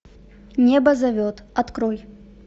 небо зовет открой